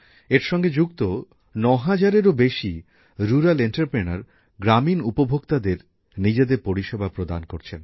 এর সঙ্গে যুক্ত ৯০০০এরও বেশী গ্রামাঞ্চলের শিল্পোদ্যোগীরা গ্রামীণ উপভোক্তাদের নিজেদের পরিষেবা প্রদান করছেন